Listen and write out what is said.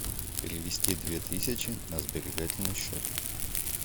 перевести две тысячи на сберегательный счет